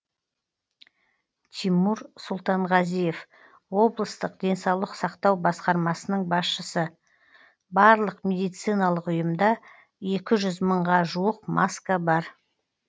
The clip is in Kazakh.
тимур сұлтанғазиев облыстық денсаулық сақтау басқармасының басшысы барлық медициналық ұйымда екі жүз мыңға жуық маска бар